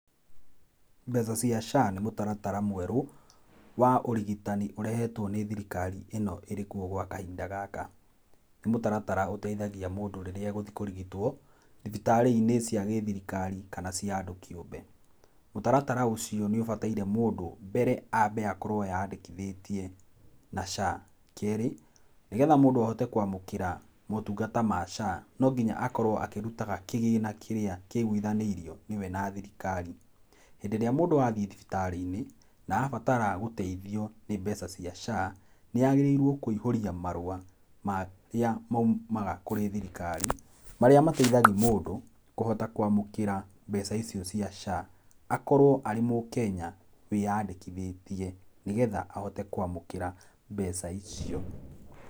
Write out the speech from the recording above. Mbeca cia SHA nĩ mũtaratara mwerũ wa ũrigitani ũrehetwo nĩ thirikari ĩno, ĩrĩ kuo gwa kahinda gaka, nĩ mũtaratara ũteithagia mũndũ rĩrĩa, egũthiĩ kũrigĩtwo thibitarĩ-inĩ cia gĩthirikari kana cia andũ kĩumbe, mũtaratara ũcio nĩ ũbataire mũndũ mbere ambe ye yandĩkĩthĩtie na SHA, kerĩ nĩgetha mũndũ ahote gũkorwo eyandĩkithĩte na motungata ma SHA no mũhaka akorwo akĩrutaga kĩgĩna kĩrĩa kĩiguithanĩirio nĩ we na thirikari. Hĩndĩ ĩrĩa mũndũ athiĩ thibitarĩ-inĩ na abatara gũteithio nĩ mbeca cia SHA, nĩagĩrĩirwo kũihũria marũa marĩa moimaga kũrĩ thirikari, marĩa mateithagia mũndũ kũhota kũamũkĩra mbeca icio cia SHA, akorow arĩ mũkenya wĩ nyandĩkĩthĩte nĩgetha ahote kwamũkĩra mbeca icio.